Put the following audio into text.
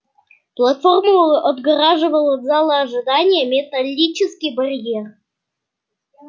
платформу отгораживал от зала ожидания металлический барьер